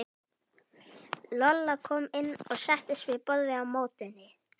Lolla kom inn og settist við borðið á móti henni.